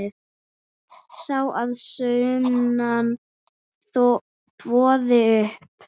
Sá að sunnan þvoði upp.